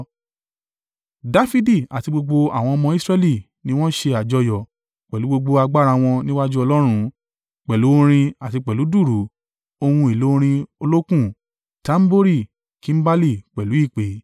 Dafidi àti gbogbo àwọn ọmọ Israẹli ni wọ́n ṣe àjọyọ̀ pẹ̀lú gbogbo agbára wọn níwájú Ọlọ́run, pẹ̀lú orin àti pẹ̀lú dùùrù, ohun èlò orin olókùn, tambori, kimbali pẹ̀lú ìpè.